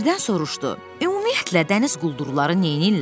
Birdən soruşdu: "Ümumiyyətlə, dəniz quldurları neyniyirlər?"